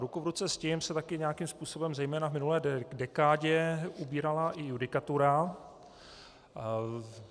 Ruku v ruce s tím se také nějakým způsobem zejména v minulé dekádě ubírala i judikatura.